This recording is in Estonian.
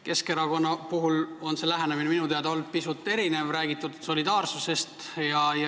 Keskerakonna puhul on see lähenemine minu teada pisut erinev olnud, on räägitud solidaarsusest.